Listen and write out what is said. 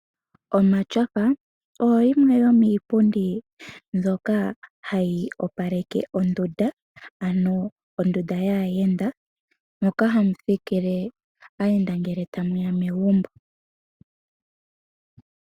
Omatyofa, oyo yimwe yomiipundi mbyoka hayi opaleke ondunda ano ondunda yaayenda moka hamu thikile aayenda ngele ta ye ya megumbo.